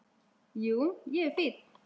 Jú, ég er fínn.